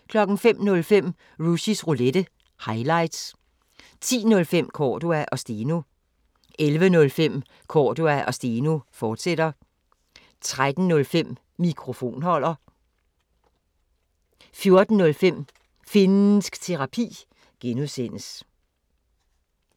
05:05: Rushys Roulette – highlights 10:05: Cordua & Steno 11:05: Cordua & Steno, fortsat 13:05: Mikrofonholder 14:05: Finnsk Terapi (G)